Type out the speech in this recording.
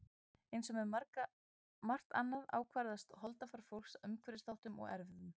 Eins og með margt annað ákvarðast holdafar fólks af umhverfisþáttum og erfðum.